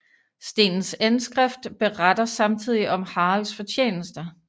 Stenens indskrift beretter samtidig om Haralds fortjenester